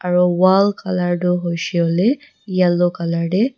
aro wall colour tu hoishey koilae yellow colour tae.